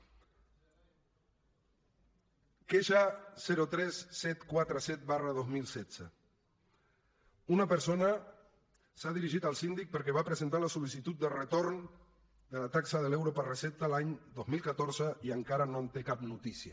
queixa tres mil set cents i quaranta set dos mil setze una persona s’ha dirigit al síndic perquè va presentar la sol·licitud de retorn de la taxa de l’euro per recepta l’any dos mil catorze i encara no en té cap notícia